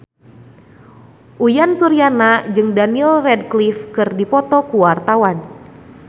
Uyan Suryana jeung Daniel Radcliffe keur dipoto ku wartawan